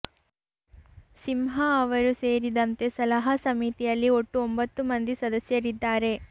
ಸಿಂಹ ಅವರು ಸೇರಿದಂತೆ ಸಲಹಾ ಸಮಿತಿಯಲ್ಲಿ ಒಟ್ಟು ಒಂಬತ್ತು ಮಂದಿ ಸದಸ್ಯರಿದ್ದಾರೆ